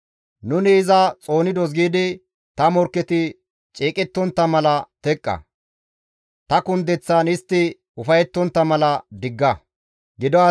«Nuni iza xoonidos» giidi, ta morkketi ceeqettontta mala ne istta teqqa. Ta kundeththaan istti ufayettontta mala ne istta digga.